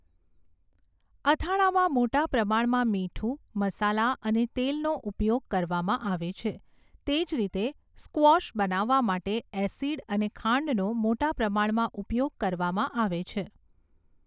અથાણામાં મોટા પ્રમાણમાં મીઠું, મસાલા અને તેલનો ઉપયોગ કરવામાં આવે છે. તે જ રીતે સ્ક્વૉશ બનાવવા માટે એસિડ અને ખાંડનો મોટા પ્રમાણમાં ઉપયોગ કરવામાં આવે છે.